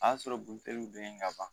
A y'a sɔrɔ buteliw bɛ yen ka ban